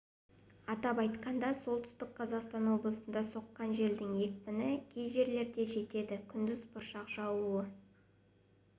атап айтқанда солтүстік қазақстан облысында соққан желдің екпіні кей жерлерде жетеді күндіз бұршақ жаууы